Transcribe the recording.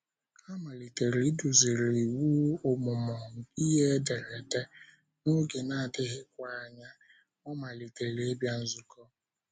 A malitere iduziri ịwụ ọmụmụ ihe ederede, n’oge na - adịghịkwa anya, ọ malitere ịbịa nzukọ.